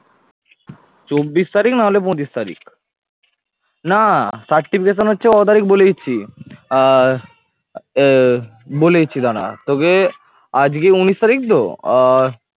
চব্বিশ তারিখ না হলে পঁচিশ তারিখ না certification হচ্ছে ক তারিখ বলে দিচ্ছি আহ বলে দিচ্ছি দারা তোকে আজকে উনিশ তারিখ তো আহ